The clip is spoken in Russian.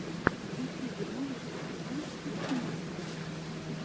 в ютьюбе можешь показать итинг фокс